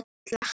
alla.